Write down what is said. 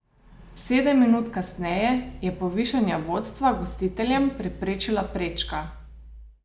Sedem minut kasneje je povišanje vodstva gostiteljem preprečila prečka.